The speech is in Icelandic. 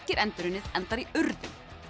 er endurunnið endar í urðun